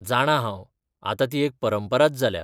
जाणां हांव, आतां ती एक परंपराच जाल्या.